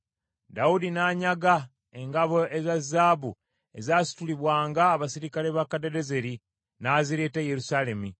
Dawudi n’anyaga engabo eza zaabu ezasitulibwanga abaserikale ba Kadadezeri n’azireeta e Yerusaalemi.